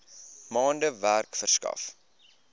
maande werk verskaf